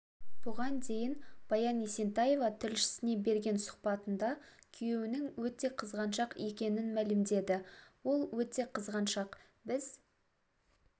бұған дейін баян есентаева тілшісіне берген сұхбатында күйеуінің өте қызғаншақ екенін мәлімдеді ол өте қызғаншақ біз